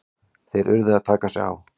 Þeir urðu að taka sig á!